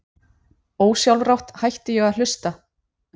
Ósjálfrátt hætti ég að hlusta.